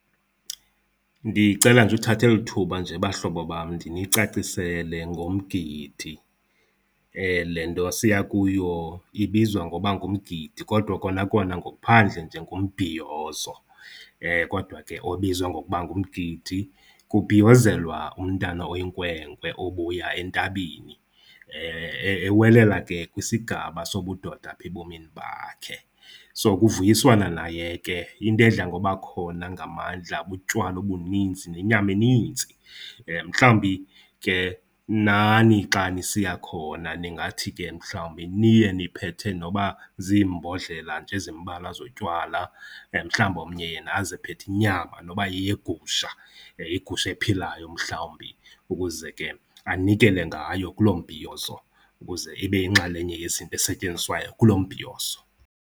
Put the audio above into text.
Ndicela nje uthatha eli thuba nje bahlobo bam ndinicacisele ngomgidi. Le nto siya kuyo ibizwa ngoba ngumgidi kodwa kona kona ngokuphandle nje ngumbhiyozo, kodwa ke obizwa ngokuba ngumgidi. Kubhiyozelwa umntana oyinkwenkwe obuya entabeni ewelela ke kwisigaba sobudoda apha ebomini bakhe. So, kuvuyiswana naye ke. Into edla ngoba khona ngamandla butywala obuninzi nenyama eninzi. Mhlawumbi ke nani xa nisiya khona ningathi ke mhlawumbi niye niphethe noba ziimbodlela nje ezimbalwa zotywala. Mhlawumbi omnye yena aze ephethe inyama noba yeyegusha, igusha ephilayo mhlawumbi ukuze ke anikele ngayo kuloo mbhiyozo ukuze ibe yinxalenye esetyenziswayo kulo mbhiyozo.